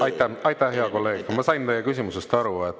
Aitäh, hea kolleeg, ma sain teie küsimusest aru.